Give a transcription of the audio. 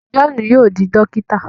Johnu yóò di dokita